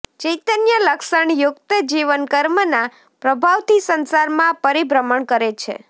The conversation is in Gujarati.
ચૈતન્ય લક્ષણ યુક્ત જીવ કર્મના પ્રભાવથી સંસારમાં પરિભ્રમણ કરે છે